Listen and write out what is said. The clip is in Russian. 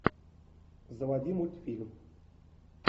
заводи мультфильм